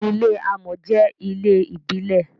ilé amò jé ilé ìbílè.